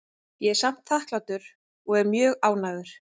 Ég er samt þakklátur og er mjög ánægður.